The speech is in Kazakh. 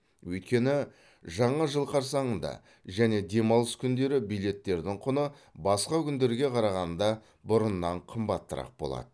өйткені жаңа жыл қарсаңында және демалыс күндері билеттердің құны басқа күндерге қарағанда бұрыннан қымбатырақ болады